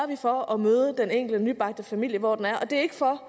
vi for at møde den enkelte nybagte familie hvor den er og det er ikke for